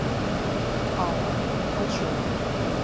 алла ткачева